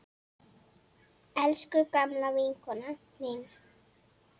Elsku gamla vinkona mín.